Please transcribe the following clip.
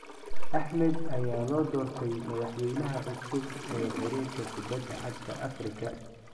Axmed ayaa loo doortay madaxweynaha cusub ee xiriirka kubadda cagta Afrika